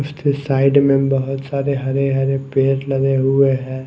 इस ते एक साइड में बहुत सारे हरे हरे पेड़ लगे हुए है।